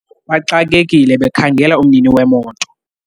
baxakekile bekhangela umnini wemoto